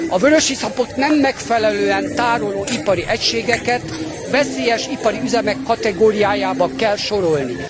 A vörösiszapot nem megfelelően tároló ipari egységeket a veszélyes ipari üzemek kategóriájába kell sorolni.